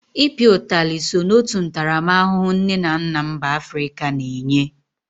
I pịa utali so n'otu ntaramahụhụ nne na nna mba Afrịka na-enye.